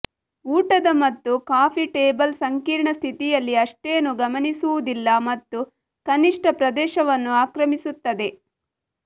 ಊಟದ ಮತ್ತು coffee table ಸಂಕೀರ್ಣ ಸ್ಥಿತಿಯಲ್ಲಿ ಅಷ್ಟೇನೂ ಗಮನಿಸುವುದಿಲ್ಲ ಮತ್ತು ಕನಿಷ್ಠ ಪ್ರದೇಶವನ್ನು ಆಕ್ರಮಿಸುತ್ತದೆ